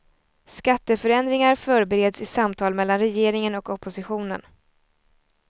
Skatteförändringar förbereds i samtal mellan regeringen och oppositionen.